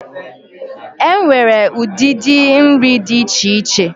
Enwere udidi nri di iche iche,